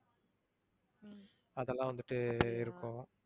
அதெல்லாம் வந்துட்டு இருக்கும்